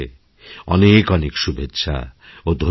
অনেক অনেক শুভেচ্ছাও ধন্যবাদ